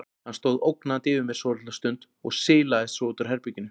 Hann stóð ógnandi yfir mér svolitla stund og silaðist svo út úr herberginu.